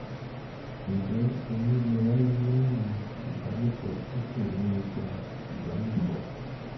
ǹjẹ́ oyún lè wáyé lẹ́yìn ìbálòpọ̀ tí kò ní ipa ìbálòpọ̀?